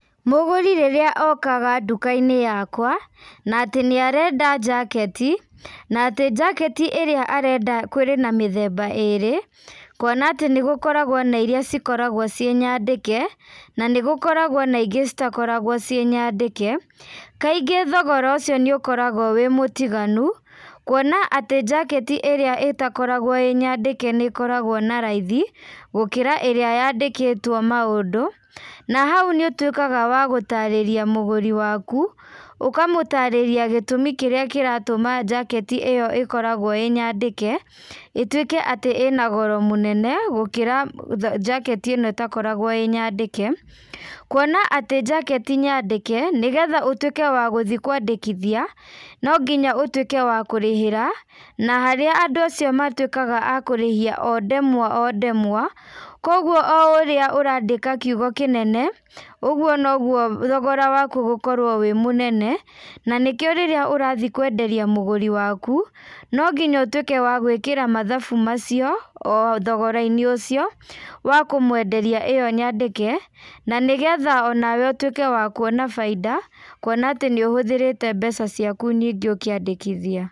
Mũgũri rĩrĩa okaga ndũkainĩ yakwa, na atĩ nĩarenda jaketi, na atĩ jaketi ĩrĩa arenda kũrĩ na mĩthemba ĩrĩ, kuona atĩ nĩgũkoragwo na iria cikoragwo ciĩ nyandĩke, na nĩgũkoragwo na ingĩ citakoragwo ciĩ nyandĩke, kaingĩ thogora ũcio nĩũkoragwo ĩ mũtiganu, kuona atĩ jaketi ĩrĩa ĩtakoragwo ĩ nyandĩke nĩkoragwo na raithi, gũkĩra ĩrĩa yandĩkĩtwo maũndũ, na hau nĩũtuĩkaga wa gũtarĩria mũgũri waku, ũkamũtarĩria gũtumi kĩrĩa kĩratũma jaketi ĩyo ĩkoragwo ĩ nyandĩke, ĩtuĩke atĩ ĩna goro mũnene, gũkĩra njaketi ĩno ĩtakoragwo ĩ nyandĩke, kuona atĩ jaketi nyandĩke, nĩgetha ũtuĩke wa gũthiĩ kwandĩkithia, no nginya ũtuĩke wa kũrĩhĩra, na harĩa andũ acio matuĩkaga a kũrĩhia o ndemwa o ndemwa, koguo o ũrĩa ũrandĩka kiugo kĩnene, ũguo noguo thogora waku ũgũkorwo wĩ mũnene, na nĩkĩo rĩrĩa ũrathiĩ kwenderia mũgũri waku, nonginya ũtuĩke wa gwĩkĩra mathabu macio, o thogorainĩ ũcio, wa kũmwenderia ĩyo nyandĩke, na nĩgetha onawe ũtuĩke wa kuona bainda, kuona atĩ nĩũhũthĩrĩte mbeca ciaku nyingĩ ũkĩandĩkĩthia.